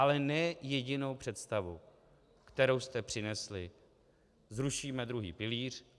Ale ne jedinou představu, kterou jste přinesli: zrušíme druhý pilíř.